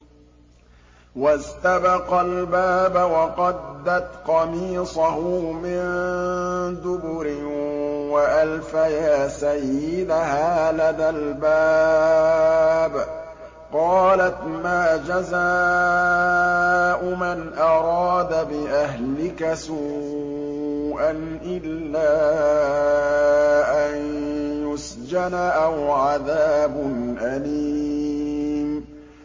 وَاسْتَبَقَا الْبَابَ وَقَدَّتْ قَمِيصَهُ مِن دُبُرٍ وَأَلْفَيَا سَيِّدَهَا لَدَى الْبَابِ ۚ قَالَتْ مَا جَزَاءُ مَنْ أَرَادَ بِأَهْلِكَ سُوءًا إِلَّا أَن يُسْجَنَ أَوْ عَذَابٌ أَلِيمٌ